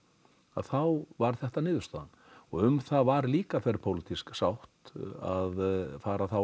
þá var þetta niðurstaðan og um það var líka þverpólitísk sátt að fara þá